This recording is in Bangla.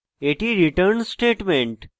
এটি return statement